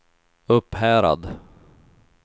Upphärad